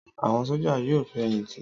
Àwọn sójà yóò fẹ̀yìntì